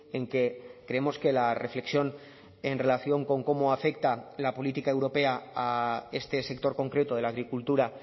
en que creemos que la reflexión en relación con cómo afecta la política europea a este sector concreto de la agricultura